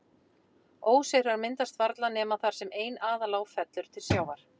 Óseyrar myndast varla nema þar sem ein aðalá fellur til sjávar.